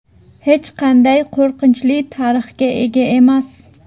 Hech qanday qo‘rqinchli tarixga ega emas.